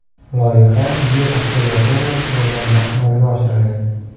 Loyiha Yer observatoriyasi yordamida amalga oshirilgan.